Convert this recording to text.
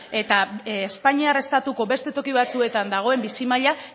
eta espainiar estatuko beste toki batzuetan dagoen bizi maila